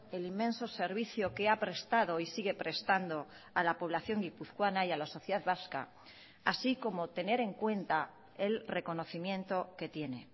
el inmenso servicio que ha prestado y sigue prestando a la población guipuzcoana y a la sociedad vasca así como tener en cuenta el reconocimiento que tiene